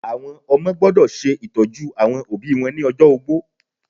Àwọn ọmọ gbọ́dọ̀ se ìtọ́jú àwọn òbí wọn ni ojó ogbó